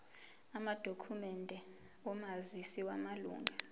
amadokhumende omazisi wamalunga